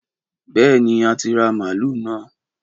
Bèéní, a ti ra malú nõ